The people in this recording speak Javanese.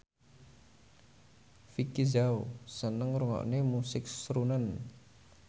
Vicki Zao seneng ngrungokne musik srunen